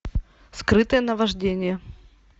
скрытое наваждение